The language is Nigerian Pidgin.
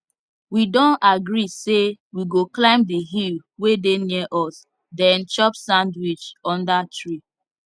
we don agree say we go climb the hill wey dey near us then chop sandwich under tree